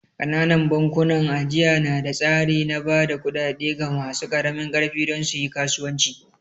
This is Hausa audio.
Ƙananan bankunan ajiya na da tsari na ba da kuɗaɗe ga masu ƙaramin ƙarfi don su yi kasuwanci